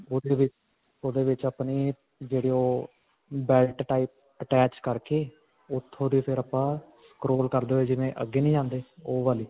ਓਹਦੇ ਵਿੱਚ, ਓਹਦੇ ਵਿੱਚ ਆਪਣੀ ਜਿਹੜੀ ਓਹ ਬੈਲਟ type attach ਕਰਕੇ ਉੱਥੋਂ ਦੀ ਫਿਰ ਆਪਾਂ scroll ਕਰਦੇ ਹੋਏ, ਜਿਵੇਂ ਅੱਗੇ ਨੀ ਜਾਂਦੇ ਓਹ ਵਾਲੀ.